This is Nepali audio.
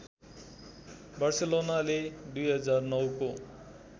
बार्सेलोनाले २००९ को